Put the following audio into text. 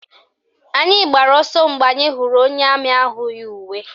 Anyị gbara ọsọ mgbe anyị hụrụ onye amị ahụ yi uwe.